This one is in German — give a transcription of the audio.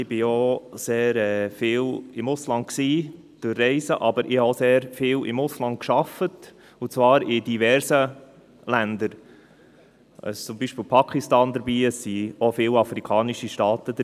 Ich war sehr oft im Ausland auf Reisen, aber ich habe auch oft im Ausland gearbeitet, und zwar in diversen Ländern, zum Beispiel in Pakistan und in afrikanischen Staaten.